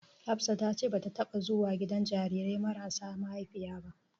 Hafsa ta ce bata taɓa zuwa gidan jarirai mayasa maihaifiya ba.